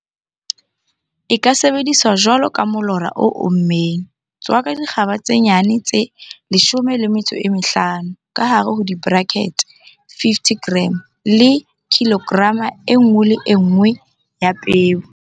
E ka sebediswa jwalo ka molora o ommeng. Tswaka dikgaba tse nyane tse 15, ka hare ho di-brackets 50 g, le kilograma e nngwe le e nngwe ya peo.